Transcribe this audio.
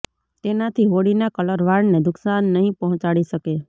તેનાથી હોળીના કલર વાળને નુકશાન નહીં પહોંચાડી શકે